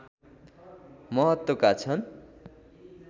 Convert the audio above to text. महत्त्वका छन्